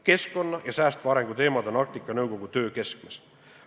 Keskkonna ja säästva arengu teemad on Arktika Nõukogu töö keskmes.